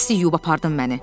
Bəsdir yuyub apardın məni.